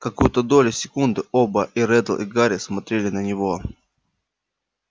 какую-то долю секунды оба и реддл и гарри смотрели на него